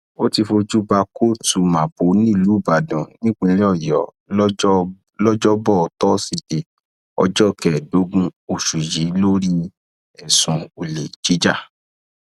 ó ti fojú bá kóòtù mapo nílùú ibalodàn nípínlẹ ọyọ lọjọbọtò tósídéé ọjọ kẹẹẹdógún oṣù yìí lórí ẹsùn olè jíjà